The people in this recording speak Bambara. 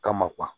Kama